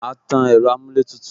A tan ẹ̀rọ amuletutu